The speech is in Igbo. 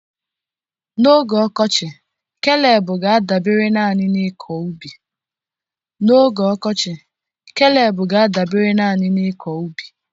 N'oge ọkọchị, Keleb ga-adabere naanị n'ịkọ ubi.